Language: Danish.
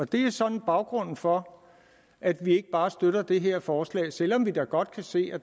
det er sådan baggrunden for at vi ikke bare støtter det her forslag selv om vi da godt kan se at